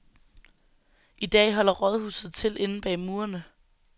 I dag holder rådhuset til inde bag murene.